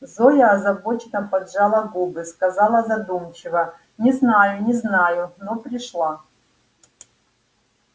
зоя озабоченно поджала губы сказала задумчиво не знаю не знаю но пришла